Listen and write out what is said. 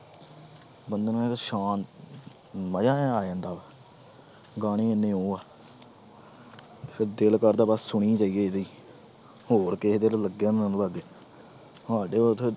ਬੰਦੇ ਨੂੰ ਮਜ਼ਾ ਜਿਹਾ ਆ ਜਾਂਦਾ ਗਾਣੇ ਇੰਨੇ ਉਹ ਆ ਫਿਰ ਦਿਲ ਕਰਦਾ ਬਸ ਸੁਣੀ ਜਾਈਏ ਇਹਦੇ ਹੀ, ਹੋਰ ਕਿਸੇ ਦੇ ਸਾਡੇ ਇੱਥੇ